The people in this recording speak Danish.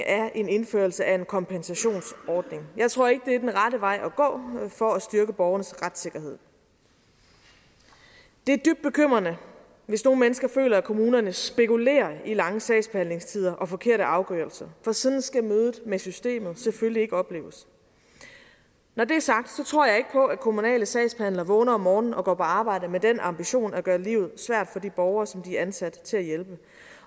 er en indførelse af en kompensationsordning jeg tror ikke det er den rette vej at gå for at styrke borgernes retssikkerhed det er dybt bekymrende hvis nogle mennesker føler at kommunerne spekulerer i lange sagsbehandlingstider og forkerte afgørelser for sådan skal mødet med systemet selvfølgelig ikke opleves når det er sagt tror jeg ikke på at kommunale sagsbehandlere vågner om morgenen og går på arbejde med den ambition at gøre livet svært for de borgere som de er ansat til at hjælpe